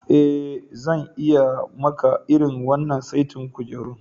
Eh, zan iya yi maka irin wannan saitin kujerun.